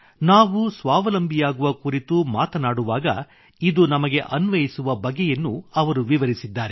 ನಾವು ಸ್ವಾವಲಂಬಿಯಾಗುವ ಕುರಿತು ಮಾತನಾಡುವಾಗ ಇದು ನಮಗೆ ಅನ್ವಯಿಸುವ ಬಗೆಯನ್ನು ಅವರು ವಿವರಿಸಿದ್ದಾರೆ